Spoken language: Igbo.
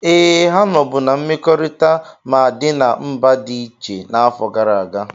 Ee, ha nọbu na mmekọrịta ma dị na mba dị iche n'afọ gara aga.